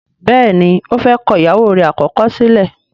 béèni ọ fè kọ ìyàwó rẹ̀ àkọ́kọ́ sílẹ̀.